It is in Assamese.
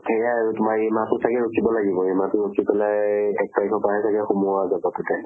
সেয়া আৰু তোমাৰ এই মাহ টো চাগে ৰখিব লাগিব। মাহ টো মাহ্টো ৰখি পেলাই সেই এক তাৰিখৰ পৰা হে চাগে সোমোৱা যাব তাতে।